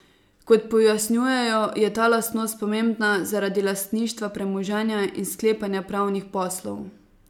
Kot pojasnjujejo, je ta lastnost pomembna zaradi lastništva premoženja in sklepanja pravnih poslov.